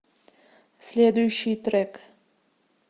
следующий трек